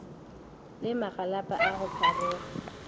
le magalapa a go pharoga